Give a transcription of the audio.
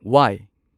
ꯋꯥꯢ